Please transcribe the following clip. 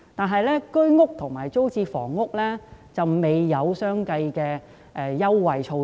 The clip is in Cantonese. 可是，居屋和租賃房屋方面卻未有相應的優惠措施。